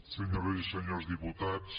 senyores i senyors diputats